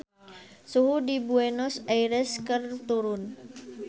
Suhu di Buenos Aires keur turun